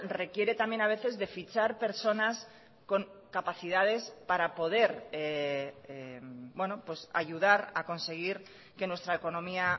requiere también a veces de fichar personas con capacidades para poder ayudar a conseguir que nuestra economía